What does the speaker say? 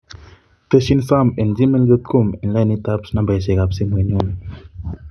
Tesyin sam en gmail dot com en lainit ab nambaisyek ab simoinyun